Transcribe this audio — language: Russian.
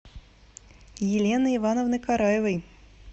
елены ивановны караевой